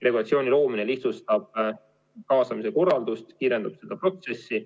Regulatsiooni loomine lihtsustab kaasamise korraldust ja kiirendab seda protsessi.